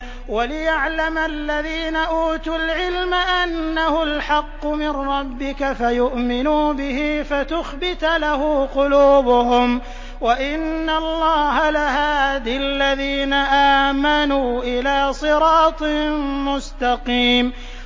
وَلِيَعْلَمَ الَّذِينَ أُوتُوا الْعِلْمَ أَنَّهُ الْحَقُّ مِن رَّبِّكَ فَيُؤْمِنُوا بِهِ فَتُخْبِتَ لَهُ قُلُوبُهُمْ ۗ وَإِنَّ اللَّهَ لَهَادِ الَّذِينَ آمَنُوا إِلَىٰ صِرَاطٍ مُّسْتَقِيمٍ